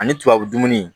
Ani tubabu dumuni